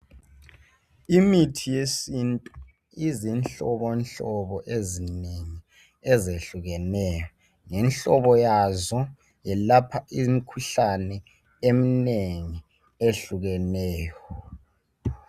Imithi yesintu izinhlobonhlobo ezinengi ezehlukeneyo. Ngemhlobo yazo yelapha imikhuhlane eminengi eyehlukeneyo.